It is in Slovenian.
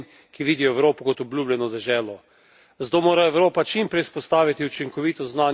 Zato mora Evropa čim prej vzpostaviti učinkovito zunanjo mejo s Turčijo v Sredozemlju.